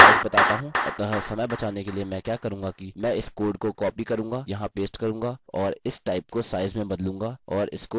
अगला मैं आपको size बताता हूँ अतः समय बचाने के लिए मैं क्या करूंगा कि मैं इस कोड को कॉपी करूँगा यहाँ पेस्ट करूँगा और इस type को size में बदलूँगा और इसको एको करूँगा